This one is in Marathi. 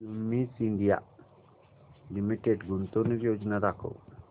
क्युमिंस इंडिया लिमिटेड गुंतवणूक योजना दाखव